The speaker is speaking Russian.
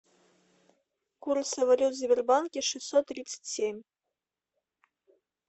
курсы валют в сбербанке шестьсот тридцать семь